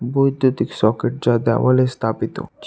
বৈদ্যুতিক সকেট যা দেওয়ালে স্থাপিত ছি--